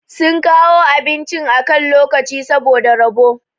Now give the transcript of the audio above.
sun kawo abincin akan lokaci saboda rabo